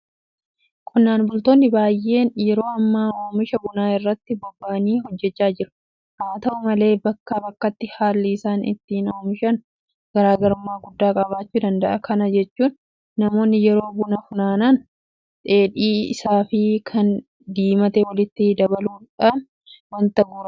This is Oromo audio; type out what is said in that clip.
Qonnaan bultoonni baay'een yeroo ammaa oomisha bunaa irratti bobba'anii hojjechaa jiru. Haata'u malee bakkaa bakkatti haalli isaan ittiin oomishan garaa garummaa guddaa qabaachuu danda'a. Kana jechuun namoonni yeroo buna funaanan dheedhii isaafi kan diimate walitti dabaluudhaan waanta guuraniif qulqullina isaa gadi buusa.